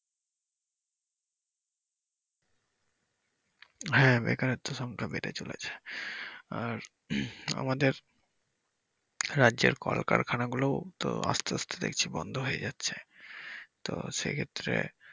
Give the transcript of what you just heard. হ্যা বেকারত্বের সংখ্যা বেড়ে চলেছে আর আমাদের রাজ্যের কল কারখানা গুলো তো আস্তে আস্তে দেখছি বন্ধ হয়ে যাচ্ছে তো সেক্ষেত্রে।